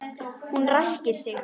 Hún ræskir sig.